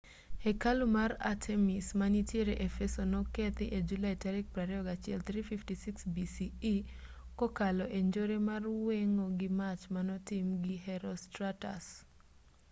hekalu mar artemis ma nitiere efeso nokethi e julai 21 356 bce kokalo e njore mar weng'o gi mach manotim gi herostratus